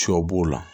Sɔ b'o la